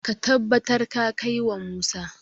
ka tabbar ka kai wa Musa!